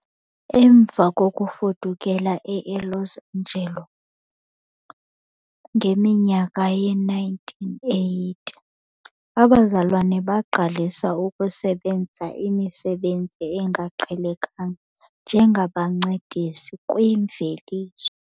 Emva kokufudukela eLos Angeles ngeminyaka yee-1980, abazalwana baqalisa ukusebenza imisebenzi engaqhelekanga njengabancedisi kwiimveliso.